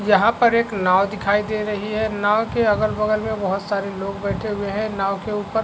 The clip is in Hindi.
जहां पर एक नाव दिखाई दे रही है नाव के अगल बगल मे बहुत सारे लोग बैठे हुए है नाव के ऊपर--